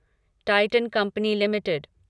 Titan company limited